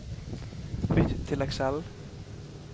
Bytt til Excel